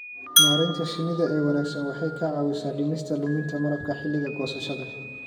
Maareynta shinnida ee wanaagsan waxay ka caawisaa dhimista luminta malabka xilliga goosashada.